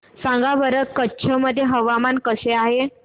सांगा बरं कच्छ मध्ये हवामान कसे आहे